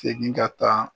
Segin ka taa